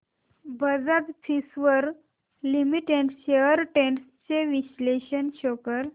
Bajaj Finserv Limited shares trends चे विश्लेषण show कर